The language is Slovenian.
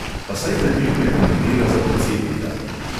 Pa saj debil ne kandidira za predsednika!